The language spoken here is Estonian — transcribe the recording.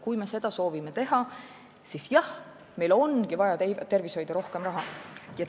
Kui me seda soovime teha, siis jah, meil ongi vaja tervishoidu rohkem raha.